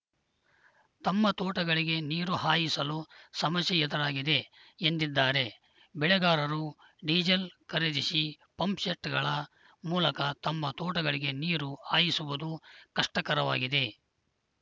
ತಮ್ಮ ತೋಟಗಳಿಗೆ ನೀರು ಹಾಯಿಸಲು ಸಮಸ್ಯೆ ಎದುರಾಗಿದೆ ಎಂದಿದ್ದಾರೆ ಬೆಳೆಗಾರರು ಡಿಸೇಲ್‌ ಖರೀದಿಸಿ ಪಂಪ್‌ಸೆಟ್‌ಗಳ ಮೂಲಕ ತಮ್ಮ ತೋಟಗಳಿಗೆ ನೀರು ಹಾಯಿಸುವುದು ಕಷ್ಟಕರವಾಗಿದೆ